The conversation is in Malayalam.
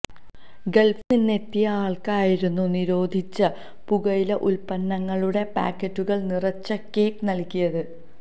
ഗള്ഫില് നിന്നെത്തിയയാള്ക്കായിരുന്നു നിരോധിച്ച പുകയില ഉത്പന്നങ്ങളുടെ പായ്ക്കറ്റുകള് നിറച്ച കേക്ക് നല്കിയത്